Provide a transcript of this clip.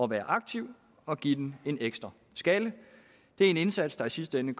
være aktiv og give den en ekstra skalle det er en indsats der i sidste ende